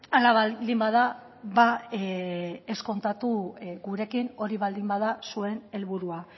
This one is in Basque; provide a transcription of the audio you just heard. hala baldin bada ez kontatu gurekin hori baldin bada zuen helburua